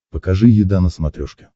покажи еда на смотрешке